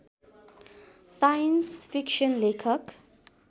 science fiction लेखक